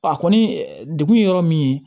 A kɔni degun ye yɔrɔ min ye